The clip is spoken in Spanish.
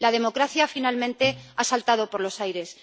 La democracia, finalmente, ha saltado por los aires.